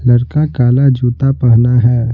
लड़का काला जूता पहना है।